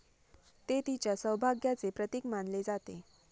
ते तिच्या सौभाग्याचे प्रतीक मानले जाते.